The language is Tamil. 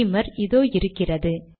பீமர் இதோ இருக்கிறது